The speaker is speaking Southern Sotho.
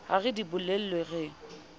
ha re di bolellwe re